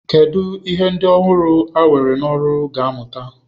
Kedu ihe ndị ọhụrụ a ga-ewe n'ọrụ ga-amụta?